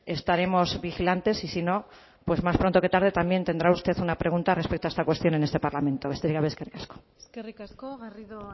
estaremos vigilantes y sino pues más pronto que tarde también tendrá usted una pregunta respecto a esta cuestión en este parlamento besterik gabe eskerrik asko eskerrik asko garrido